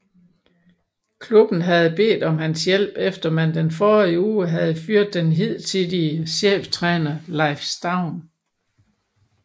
Klubben havde bedt om hans hjælp efter man den forrige uge havde fyret den hidtidige cheftræner Leif Staun